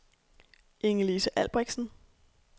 Ingelise Albrechtsen